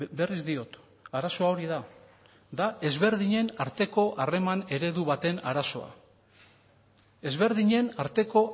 berriz diot arazoa hori da da ezberdinen arteko harreman eredu baten arazoa ezberdinen arteko